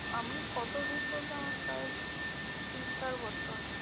আমি কত দিন বলতে? আমার প্রায় তিন চার বছর।